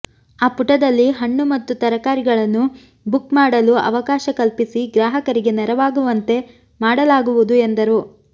ಆ ಪುಟದಲ್ಲಿ ಹಣ್ಣು ಮತ್ತು ತರಕಾರಿಗಳನ್ನು ಬುಕ್ ಮಾಡಲು ಅವಕಾಶ ಕಲ್ಪಿಸಿ ಗ್ರಾಹಕರಿಗೆ ನೆರವಾಗುವಂತೆ ಮಾಡಲಾಗುವುದು ಎಂದರು